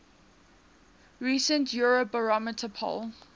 recent eurobarometer poll